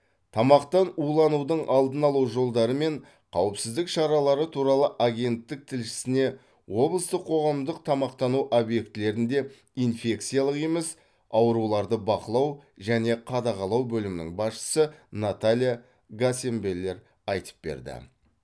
тамақтан уланудың алдын алу жолдары мен қауіпсіздік шаралары туралы агенттік тілшісіне облыстық қоғамдық тамақтану объектілерінде инфекциялық емес ауруларды бақылау және қадағалау бөлімінің басшысы наталья гаценбеллер айтып берді